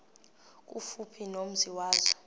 kufuphi nomzi wazo